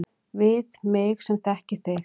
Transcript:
Við mig sem þekki þig.